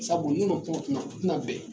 Sabu n'u u tina bɛn.